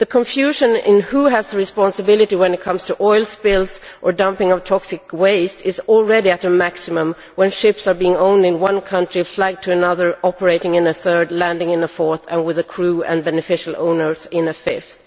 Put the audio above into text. The confusion over who bears responsibility when it comes to oil spills or dumping of toxic waste is already at a maximum with ships owned in one country, flagged to another, operating in a third and landing in a fourth, with a crew and beneficial owners in a fifth.